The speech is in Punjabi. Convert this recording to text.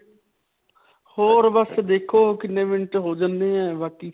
ਹੋਰ ਬਸ ਦੇਖੋ ਕਿੰਨੇ minute ਹੋ ਜਾਂਦੇ ਹੈ ਬਾਕੀ.